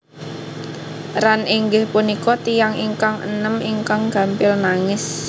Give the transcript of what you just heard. Ran inggih punika tiyang ingkang enem ingkang gampil nangis